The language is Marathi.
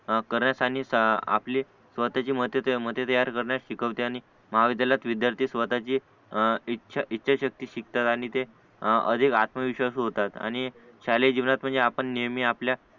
करत आणि स्वतःची मत तयार करण्यास शिकवते आणि महाविद्यालयात विदयार्थी स्वतःची इच्छा इच्छाशक्ती शिकतात आणि ते अधिक आत्मविश्वासू होतात आणि शालेय जीवनात म्हणजे आपण नेहमी आपल्या